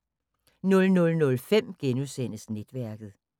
00:05: Netværket *